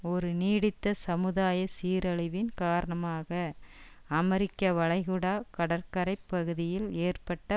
ஒரு நீடித்த சமுதாய சீரழிவின் காரணமாக அமெரிக்க வளைகுடா கடற்கரை பகுதியில் ஏற்பட்ட